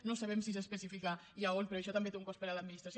no sabem si s’especifica ni a on però això també té un cost per a l’administració